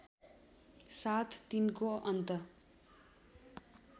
साथ तिनको अन्त